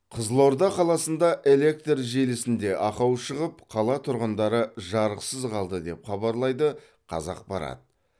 қызылорда қаласында электр желісінде ақау шығып қала тұрғындары жарықсыз қалды деп хабарлайды қазақпарат